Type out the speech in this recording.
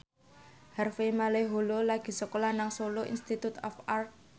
Harvey Malaiholo lagi sekolah nang Solo Institute of Art